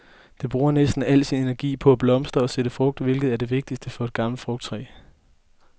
Det bruger næsten al sin energi på at blomstre og sætte frugt, hvilket er det vigtigste for et gammelt frugttræ.